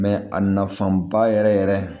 a nafanba yɛrɛ yɛrɛ